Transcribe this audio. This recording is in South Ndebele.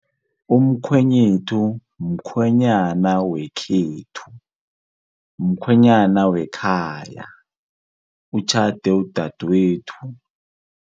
Umkhwenyethu mkhwenyana, wekhethu mkhwenyana wekhaya, utjhade udadwethu.